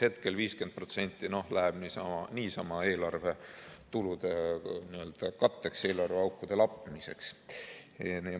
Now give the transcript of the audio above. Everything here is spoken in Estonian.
Hetkel 50% läheb niisama eelarve tulude katteks, eelarveaukude lappimiseks.